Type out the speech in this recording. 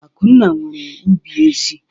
Akunna nwere ubi ezị́.